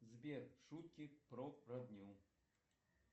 сбер шутки про родню